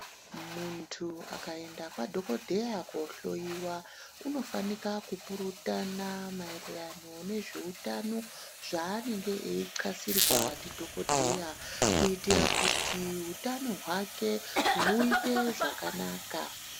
Munthu akaenda kwadhokodheya kohloyiwa unofanika kupurutana maererano nezveutano zvaanenge eithasirwa ndidhokodheya kuitira kuti utano hwake huite zvakanaka.